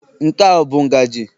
Nke a ọ bụ ngaji?